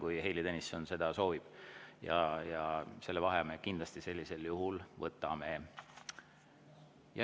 Kui Heili Tõnisson seda soovib, siis sellisel juhul vaheaja me kindlasti võtame.